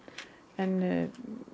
en